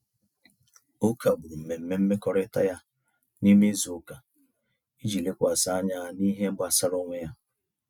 O kagbụrụ mmemme mmekọrịta ya n'ime izuụka iji lekwasị anya n'ihe gbasara onwe onye.